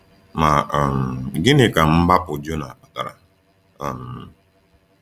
Ma um gịnị ka mgbapụ Jona kpatara? um